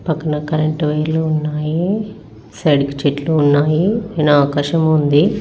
పక్కన కరెంట్ వైర్లు ఉన్నాయి సైడ్ కి చెట్లు ఉన్నాయి పైన ఆకాశం ఉంది.